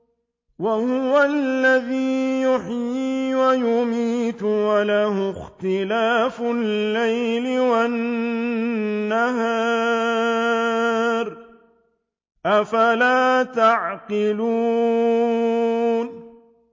وَهُوَ الَّذِي يُحْيِي وَيُمِيتُ وَلَهُ اخْتِلَافُ اللَّيْلِ وَالنَّهَارِ ۚ أَفَلَا تَعْقِلُونَ